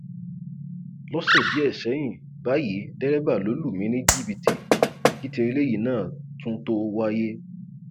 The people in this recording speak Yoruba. lọsẹ díẹ sẹyìn báyìí dẹrẹbà ló lù mí ní jìbìtì kí tí eléyìí náà tún tóó wáyé